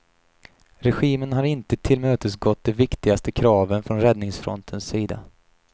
Regimen har inte tillmötesgått de viktigaste kraven från räddningsfrontens sida.